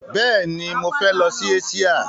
Bẹ́ẹ̀ni, mọ fẹ lọ sí Eṣíà.